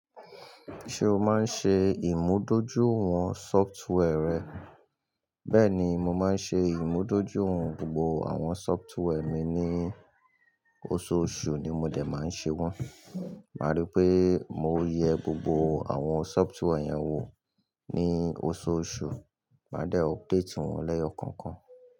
Ṣé o máa ń ṣe ìmúdójúìwọ̀n sọftware rẹ? Bẹ́ẹ̀ni, mo máa ń ṣe ìmúdójúìwọ̀n gbogbo àwọn sọftware mi ní ososù ni mo dè máa ṣe wọ́n. Má rí pé mo yẹ gbogbo àwọn sọftware yẹn wò ní osùmosù, máa dẹ́ o update wọn lẹ́ẹ̀yọ̀kànkan.